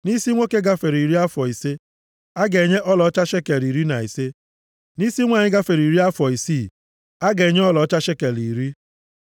Nʼisi nwoke gafere iri afọ isi, a ga-enye ọlaọcha shekel iri na ise. Nʼisi nwanyị gafere iri afọ isi a ga-enye ọlaọcha shekel iri.